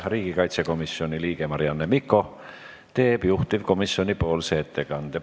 Riigikaitsekomisjoni liige Marianne Mikko teeb juhtivkomisjoni ettekande.